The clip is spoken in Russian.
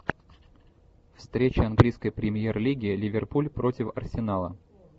встреча английской премьер лиги ливерпуль против арсенала